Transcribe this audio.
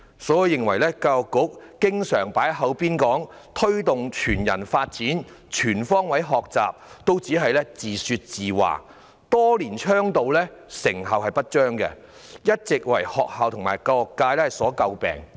所以，我認為教育局常說要推動全人發展和全方位學習，只是自說自話，多年倡導卻成效不彰，一直為學校及教育界所詬病。